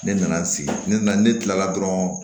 Ne nana sigi ne nana ne kilala dɔrɔn